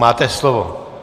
Máte slovo.